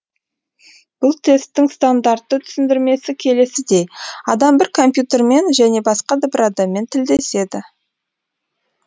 бұл тесттің стандартты түсіндірмесі келесідей адам бір компьютермен және басқа бір адаммен тілдеседі